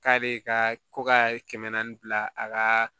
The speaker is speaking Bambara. K'a be ka ko ka kɛmɛ naani bila a ka